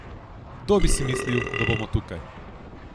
Kdo bi si mislil, da bomo tukaj?